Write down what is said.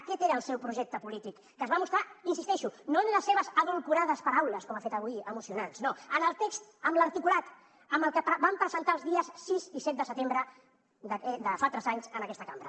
aquest era el seu projecte polític que es va mostrar hi insisteixo no en les seves edulcorades paraules com ha fet avui emocionants no en el text en l’articulat amb el que vam presentar els dies sis i set de setembre de fa tres anys en aquesta cambra